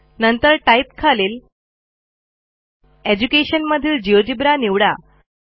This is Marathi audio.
नंतर टाइप खालील एज्युकेशन मधील जिओजेब्रा निवडा